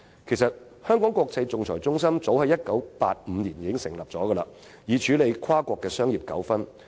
香港國際仲裁中心其實早在1985年成立，以處理跨國商業糾紛。